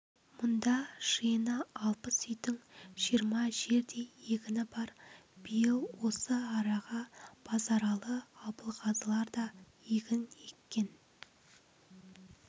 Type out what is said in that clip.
мүнда жиыны алпыс үйдің жиырма жердей егіні бар биыл осы араға базаралы абылғазылар да егін еккен